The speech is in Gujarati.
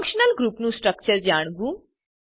ફંકશનલ ગ્રુપ નું સ્ટ્રક્ચર જાણવું